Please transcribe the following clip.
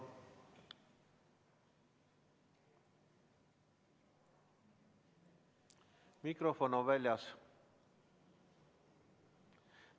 Mikrofon on väljas.